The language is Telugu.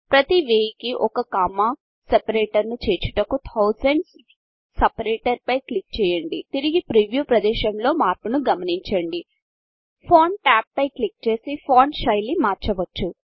ప్రతి వేయికి ఒక కొమ్మ సెపరేటర్ను చేర్చుటకు థౌసండ్స్ సెపరేటర్ థౌసండ్స్ సెప్యారేటర్ పై క్లిక్ చేయండి తిరిగి ప్రీవ్యూ ప్రదేశములో మార్పును గమనించండి ఫాంట్ టాబ్ పై క్లిక్ చేసి ఫాంట్ శైలి మార్చవచ్చు